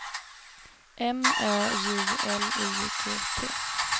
M Ö J L I G T